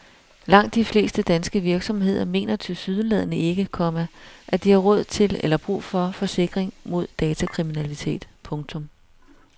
Langt de fleste danske virksomheder mener tilsyneladende ikke, komma at de har råd til eller brug for forsikring mod datakriminalitet. punktum